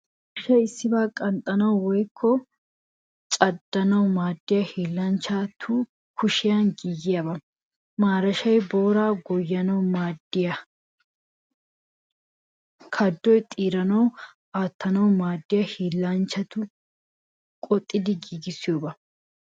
Mashshay issibaa qanxxanawu woykko caddanawu maadiyaa hiillanchchatu kushiyan giigiyaabaa. Marashshay booraa goyyanawu maadetiyoo kaduwaa xeeranawu aatanawu maadiyaa hiillanchchatu qoxxidi giigissiyoobaa.